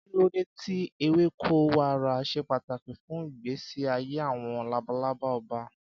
Kí ló dé tí ewéko wàrà ṣe pàtàkì fún ìgbésí ayé àwọn labalaba ọba?